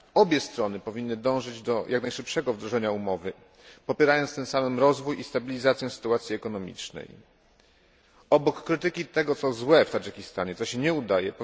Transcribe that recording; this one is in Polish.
Obie strony powinny dążyć do jak najszybszego wdrożenia umowy, popierając tym samym rozwój i stabilizację sytuacji ekonomicznej. Obok krytyki tego, co złe w Tadżykistanie to się nie udaje.